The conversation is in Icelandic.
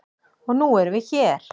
Og nú erum við hér.